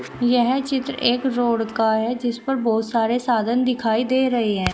यह चित्र एक रोड का है जिस पर बहोत सारे साधन दिखाई दे रहे हैं।